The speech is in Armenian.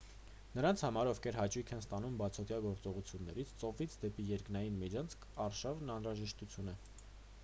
նրանց համար ովքեր հաճույք են ստանում բացօդյա գործողություններից ծովից դեպի երկնային միջանցք արշավն անհրաժեշտություն է